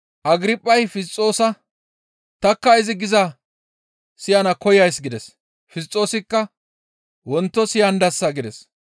Agirphay Fisxoosa, «Tanikka izi gizaa siyana koyays» gides. Fisxoosikka, «Wonto siyandasa» gides.